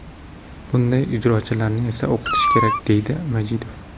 Bunday ijrochilarni esa o‘qitish kerak”, dedi Majidov.